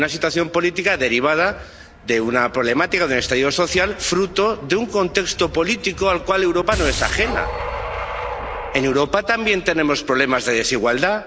Una situación política derivada de una problemática, de un estallido social, fruto de un contexto político al cual Europa no es ajena. En Europa también tenemos problemas de desigualdad.